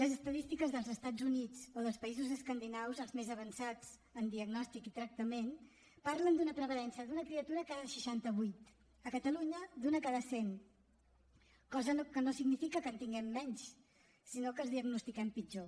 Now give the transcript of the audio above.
les estadístiques dels estats units o dels països escandinaus els més avançats en diagnòstic i tractament parlen d’una prevalença d’una criatura cada seixanta vuit a catalunya d’una cada cent cosa que no significa que en tinguem menys sinó que els diagnostiquem pitjor